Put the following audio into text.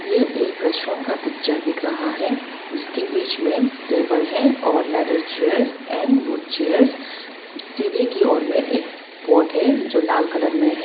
यह एक रेस्टुरेंट का पिक्चर दिख रहा है जिसकी बीच में टेबल है और leather chairs and wood chairs सीढ़ी की ओर में एक पॉट है जो लाल कलर मे है।